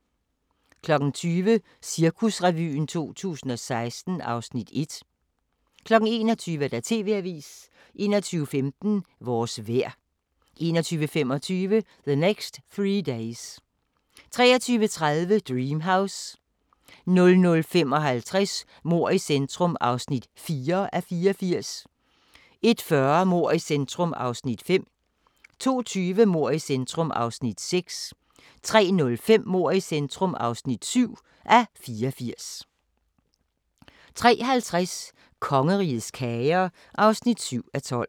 20:00: Cirkusrevyen 2016 (Afs. 1) 21:00: TV-avisen 21:15: Vores vejr 21:25: The Next Three Days 23:30: Dream House 00:55: Mord i centrum (4:84) 01:40: Mord i centrum (5:84) 02:20: Mord i centrum (6:84) 03:05: Mord i centrum (7:84) 03:50: Kongerigets kager (7:12)